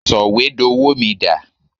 Sọ̀wédowó mi dà?